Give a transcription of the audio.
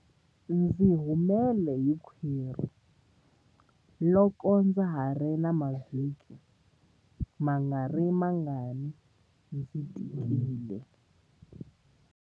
Ndzi humele hi khwiri loko ndza ha ri na mavhiki mangarimangani ndzi tikile.